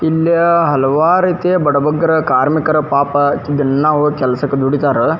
ಇಲ್ಲಿ ಹಲವಾರು ರೀತಿ ಬಡ ಬಗ್ಗಾರು ಕಾರ್ಮಿಕರು ಪಾಪ ದಿನ ಹೋಗಿ ಕೆಲಸಕ್ ದುಡಿತರ --